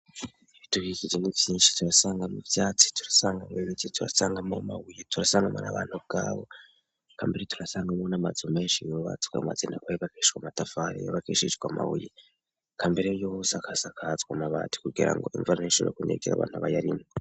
Ibitubikije ibintu vyinshi turasangamwo ivyatsi, turasangamwo n'abantu ubwabo, turasangamwo n'amazu menshi yubakishijwe n'amatafari menshi n'amabuye, ubwa mbere yose isakajwe amabati kugira ngo imvura ntishobore kunyagira abayarimwo.